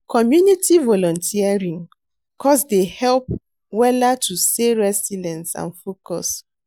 Community volunteering cause dey help wella to stay resilience and focused.